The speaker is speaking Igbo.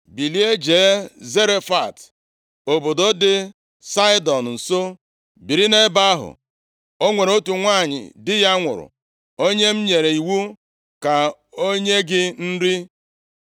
“Bilie, jee Zarefat, obodo dị Saịdọn nso, biri nʼebe ahụ. O nwere otu nwanyị di ya nwụrụ, onye m nyere iwu ka o nye gị nri.”